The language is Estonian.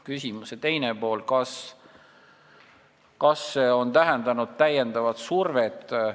Küsimuse teine pool: kas see on tähendanud täiendavat survet?